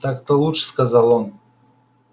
так-то лучше сказал он